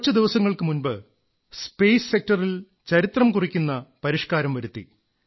കുറച്ചു ദിവസങ്ങൾക്കു മുമ്പ് സ്പേസ് സെക്ടറിൽ ചരിത്രംകുറിക്കുന്ന പരിഷ്കാരം വരുത്തി